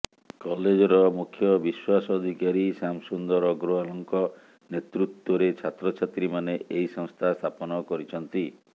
କଲେଜର ମୁଖ୍ୟ ବିଶ୍ବାସ ଅଧିକାରୀ ଶ୍ୟାମ ସୁନ୍ଦର ଅଗ୍ରୱାଲ୍ଙ୍କ ନେତୃତ୍ବରେ ଛାତ୍ରଛାତ୍ରୀମାନେ ଏହି ସଂସ୍ଥା ସ୍ଥାପନ କରିଛନ୍ତି